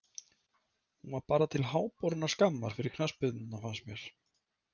Hún var bara til háborinnar skammar fyrir knattspyrnuna fannst mér.